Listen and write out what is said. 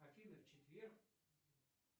афина в четверг